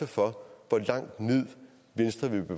for